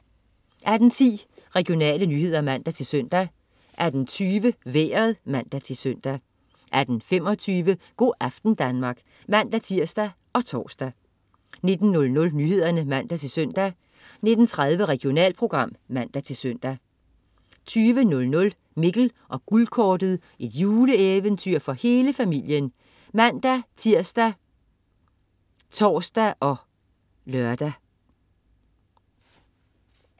18.10 Regionale nyheder (man-søn) 18.20 Vejret (man-søn) 18.25 Go' aften Danmark (man-tirs og tors) 19.00 Nyhederne (man-søn) 19.30 Regionalprogram (man-søn) 20.00 Mikkel og Guldkortet. Juleeventyr for hele familien (man-tirs, tors og lør)